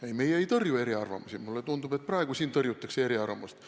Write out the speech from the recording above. Ei, meie ei tõrju eriarvamusi, mulle tundub, et praegu siin tõrjutakse eriarvamusi.